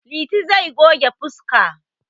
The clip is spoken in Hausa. Liti zai goge fuska.